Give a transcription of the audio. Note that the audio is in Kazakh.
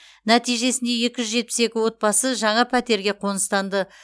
нәтижесінде екі жүз жетпіс екі отбасы жаңа пәтерге қоныстанды